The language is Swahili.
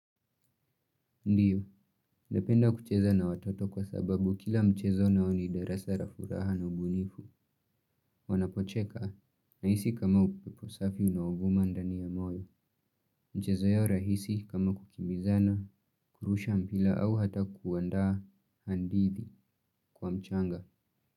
Ndio, ndependa kucheza na watoto kwa sababu kila mchezo nao ni darasara furaha na ubunifu, wanapocheka, nahisi kama upepo safi unaovuma ndani ya moyo, michezo ya rahisi kama kukimbizana, kurusha mpira au hata kuandaa hadithi kwa mchanga.